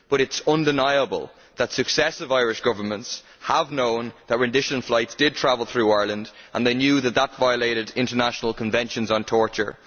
But it is undeniable that successive Irish Governments have known that rendition flights did travel through Ireland and they knew that this violated international conventions on torture.